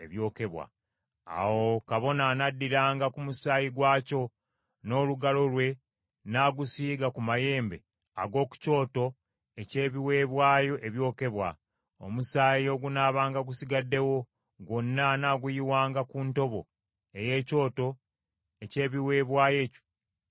Awo kabona anaddiranga ku musaayi gwakyo n’olugalo lwe n’agusiiga ku mayembe ag’oku kyoto eky’ebiweebwayo ebyokebwa. Omusaayi ogunaabanga gusigaddewo, gwonna anaaguyiwanga ku ntobo ey’ekyoto eky’ebiweebwayo ebyokebwa.